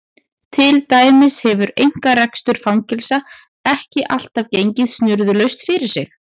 Til dæmis hefur einkarekstur fangelsa ekki alltaf gengið snurðulaust fyrir sig.